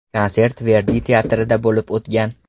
Konsert Verdi teatrida bo‘lib o‘tgan.